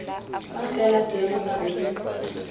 fa fela seemo sa bonno